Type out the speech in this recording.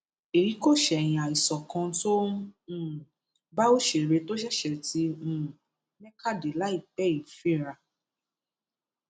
èyí kò ṣẹyìn àìsàn kan tó ń um bá òṣèré tó ṣẹṣẹ ti um mẹka dé láìpẹ yìí fínra